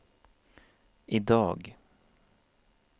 idag